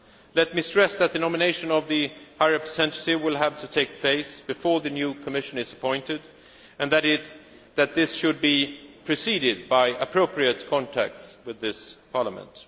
Council. Let me stress that the nomination of the High Representative will have to take place before the new Commission is appointed, and that this should be preceded by appropriate contacts with this Parliament.